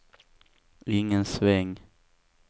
ingen sväng